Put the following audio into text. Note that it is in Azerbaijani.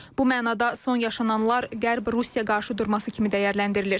Bu mənada son yaşananlar Qərb-Rusiya qarşıdurması kimi dəyərləndirilir.